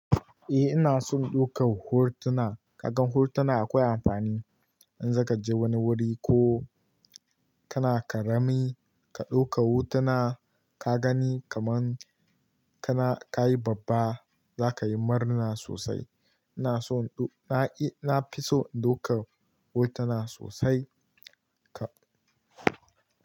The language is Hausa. Eh ina son ɗaukar hotuna. Kaga hotuna akwai amfani in zaka je wani wuri ko kana karami ka ɗauka hotuna ka gani kaman kana kayi babba zaka yi murna sosai. Ina so ɗauka, na fi so ɗaukar hotuna sosai ka.